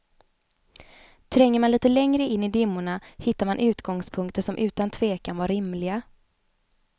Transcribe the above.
Tränger man lite längre in i dimmorna hittar man utgångspunkter som utan tvekan var rimliga.